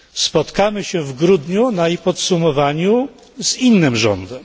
Spotkamy się w grudniu na jej podsumowaniu z innym rządem.